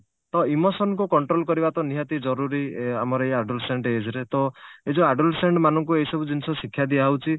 ତ emotionକୁ ତ control କରିବା ତ ନିହାତି ଜରୁରୀ ଆମର ଏ adolescence age ରେ ତ ଏଇ ଯଉ adolescence ମାନଙ୍କୁ ଏଇ ସବୁ ଜିନିଷ ଶିକ୍ଷା ଦିଆହଉଛି